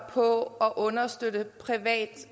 på at understøtte privat